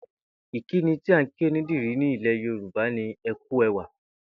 Ìkíni tí à ń kí onídìrí ní ilè̩ Yorùbá ni ‘e̩ kú e̩wà’